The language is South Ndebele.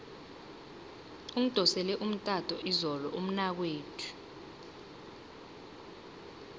ungidosele umtato izolo umnakwethu